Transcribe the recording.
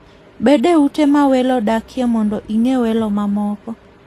Bed e ute ma welo dakie mondo ing'e welo mamoko.